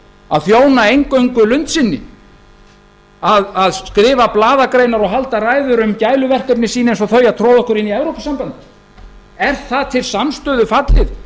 að þjóna eingöngu lund sinni að skrifa blaðagreinar og halda ræður um gæluverkefni sín eins og þau að troða okkur inn í evrópusambandið er það til samstöðu fallið í